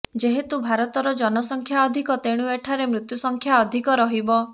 ଯେହେତୁ ଭାରତର ଜନସଂଖ୍ୟା ଅଧିକ ତେଣୁ ଏଠାରେ ମୃତ୍ୟୁସଂଖ୍ୟା ଅଧିକ ରହିବ